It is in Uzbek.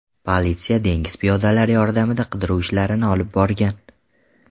Politsiya dengiz piyodalari yordamida qidiruv ishlarini olib borgan.